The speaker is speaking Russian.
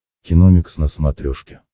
киномикс на смотрешке